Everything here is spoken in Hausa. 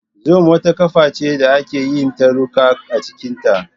Zoom wata kafa ce da ake yin taruka a cikinta.